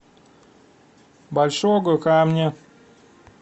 большого камня